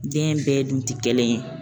Den bɛɛ dun ti kelen yen